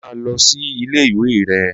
Máa lo sílé ìwé re!